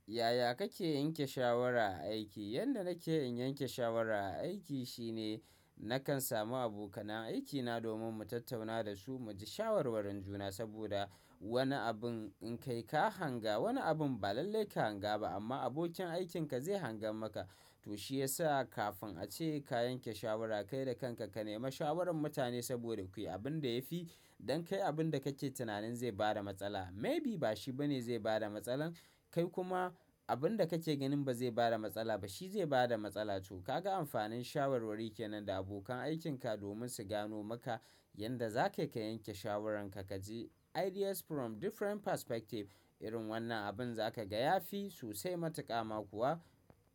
Yaya kake yanke shawara a aiki? Yanda nake in yanke shawara a aiki shine nakan samu abokanan aikina domin mu tattauna da su, mu ji shawarwarin juna saboda wani abin in kai ka hanga, wani abin ba lallai ka hanga ba amma abokin aikinka zai hanga maka. To shiyasa kafin a ce ka yanke shawara kai da kanka, ka nema shawaran mutane saboda kuyi abin da yafi. Don kai abin da kake tunanin zai bada matsala maybe bashi bane zai bada matsala. Kai kuma abin da kake ganin ba zai bada matsala ba, shi zai bada matsala. To kaga amfanin shawarwari kenan da abokan aikinka domin su gano maka yanda zaka yi ka yanke shawaran ka, ka ji ideas from different perspective. Irin wannan abin za ka ga yafi sosai matuƙama kuwa.